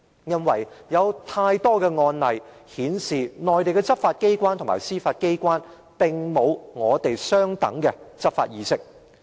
因為有太多案例顯示，內地執法機關和司法機關並無與我們相等的執法意識。